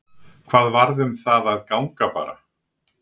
Hvað varð um það að ganga bara?